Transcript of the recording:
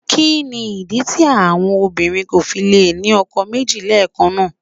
Kí ni ìdí tí àwọn obìnrin kò fi lè ní ọkọ méjì lẹ́ẹ̀kan náà?